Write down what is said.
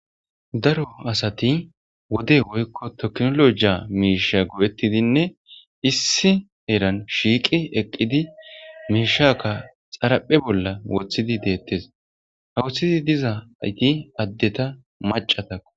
Daro asati wode woykko toknolojia miisha go7ettidinne issi heran shiiqi eqqidi miishakka xaraphe bolla wothidi deettes hawuththidi diza ayti addeta macatako.